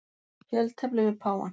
Fjöltefli við páfann.